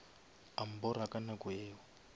a mbora ka nako yeo